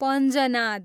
Panjnad